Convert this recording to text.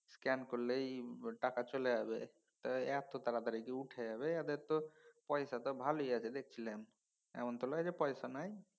Scan করলেই টাকা চলে যাবে। টা এত তাড়াতাড়ি কি উঠে যাবে? এদের তো পয়সা তো ভালই আছে দেখছি। এমন তো লয় যে পয়সা নাই।